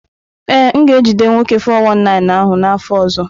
Ee, m ga-ejide nwoke 419 ahụ n’afọ ọzọ.